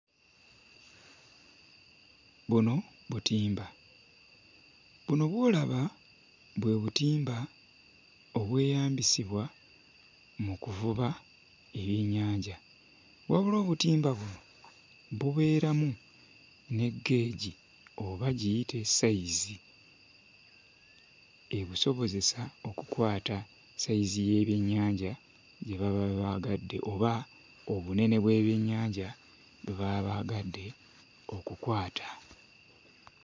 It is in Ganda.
Buno butimba buno bw'olaba bwe butimba obweyambisibwa mu kuvuba ebyennyanja wabula obutimba buno bubeeramu ne gauge oba giyite ssayizi ebusobozesa okukwata ssayizi y'ebyennyanja gye baba baagadde oba obunene bw'ebyennyanja bwe baba baagadde okukwata.